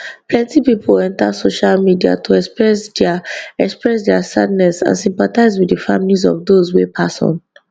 plenty pipo enta social media to express dia express dia sadness and sympathise wit di families of dose wey pass on